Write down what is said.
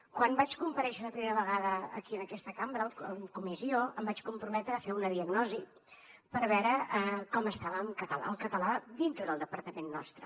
quan vaig comparèixer per primera vegada aquí en aquesta cambra en comissió em vaig comprometre a fer una diagnosi per veure com estava el català dintre del departament nostre